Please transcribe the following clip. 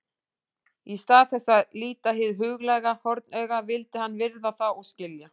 Í stað þess að líta hið huglæga hornauga vildi hann virða það og skilja.